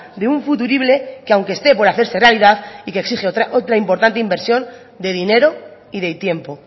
de un futurible que aunque este por hacerse realidad y que exige otra importante inversión de dinero y de tiempo